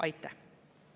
Aitäh!